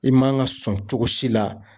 I man ka sɔn cogo si la.